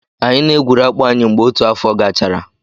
Anyị na-egwuru akpụ anyị mgbe otu afọ gachara.